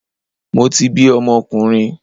Mo ti bi ọmọkùnrin